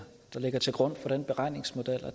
der ligger til grund for den beregningsmodel